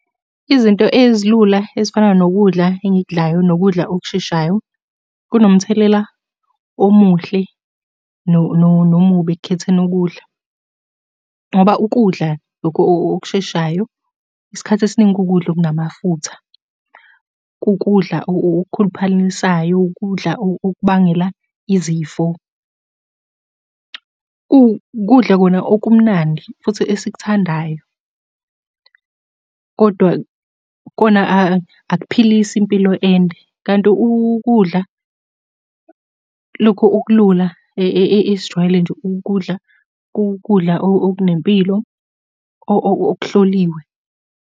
Izinto ezilula ezifana nokudla engikudlayo nokudla okusheshayo kunomthelela omuhle nomubi ekukhetheni ukudla, ngoba ukudla lokhu okusheshayo, isikhathi esiningi kukudla okunamafutha. Kukudla okukhuluphalisayo, ukudla okubangela izifo. Ukudla kona okumnandi, futhi esikuthandayo, kodwa kona akuphilisi impilo ende, kanti ukudla lokhu okulula esijwayele nje ukukudla, kukudla okunempilo okuhloliwe.